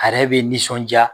A yɛrɛ bɛ nisɔn jaa.